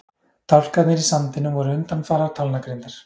Dálkarnir í sandinum voru undanfarar talnagrindar.